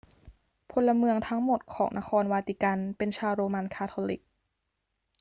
พลเมืองทั้งหมดของนครวาติกันเป็นชาวโรมันคาทอลิก